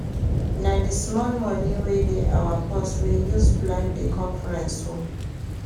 Na di small moni wey dey our purse we use plan di conference o.